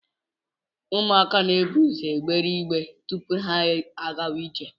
Ụmụaka na-eburu ụzọ gbee igbere tupu ha agawa ije